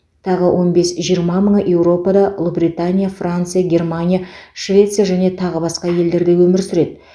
тағы он бес жиырма мыңы еуропада ұлыбритания франция германия швеция және тағы басқа елдерде өмір сүреді